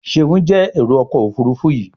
Seun jé Èrò ọkọ̀ òfurufú yi.